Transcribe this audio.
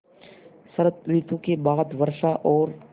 शरत ॠतु के बाद वर्षा और